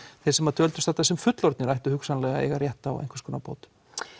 þeir sem dvöldust þarna sem fullorðnir ættu hugsanlega að eiga rétt á einhvers konar bótum